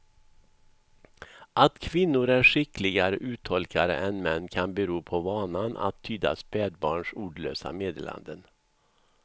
Att kvinnor är skickligare uttolkare än män kan bero på vanan att tyda spädbarns ordlösa meddelanden.